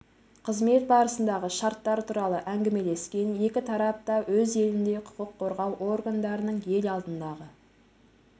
қызмет барысындағы шарттар туралы әңгімелескен екі тарап та өз елінде құқық қорғау органдарының ел алдындағы